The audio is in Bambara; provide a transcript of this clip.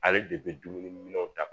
Ale de bɛ dumuni minɛnw ta